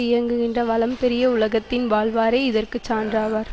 இயங்குகின்ற வளம் பெரிய உலகத்தில் வாழ்வோரே இதற்கு சான்றாவர்